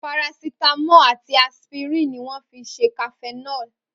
Paracitamo àti aspirin ni wọn fi ṣe cafenol